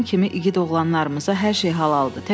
İlham kimi igid oğlanlarımıza hər şey halaldır.